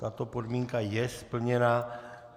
Tato podmínka je splněna.